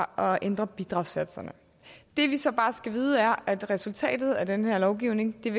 at ændre bidragssatserne det vi så bare skal vide er at resultatet af den her lovgivning er